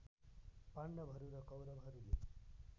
पाण्डवहरू र कौरवहरूले